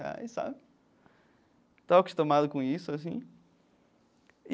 Reais sabe. Estou acostumado com isso, assim.